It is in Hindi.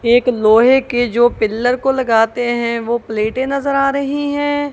एक लोहे के जो पिलर को लगाते हैं वो प्लेटें नजर आ रही हैं।